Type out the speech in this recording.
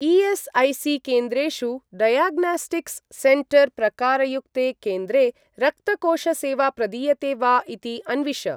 ई.एस्.ऐ.सी.केन्द्रेषु diagnostics centre प्रकारयुक्ते केन्द्रे रक्तकोष सेवा प्रदीयते वा इति अन्विष।